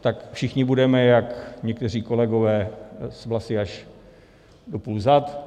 tak všichni budeme jak... někteří kolegové s vlasy až do půl zad.